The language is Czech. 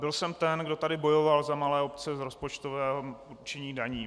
Byl jsem ten, kdo tady bojoval za malé obce v rozpočtovém určení daní.